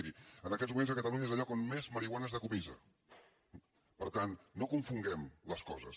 miri en aquests moments catalunya és el lloc on més marihuana es decomissa per tant no confonguem les coses